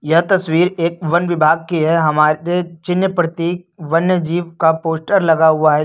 यह तस्वीर एक वन विभाग की है हमारे चिन्ह प्रतीक वन्य जीव का पोस्टर लगा हुआ है।